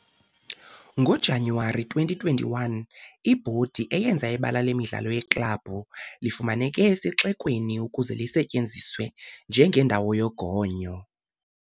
NgoJanuwari 2021, ibhodi yenza ibala lemidlalo yeklabhu lifumaneke esixekweni ukuze lisetyenziswe njengendawo yogonyo.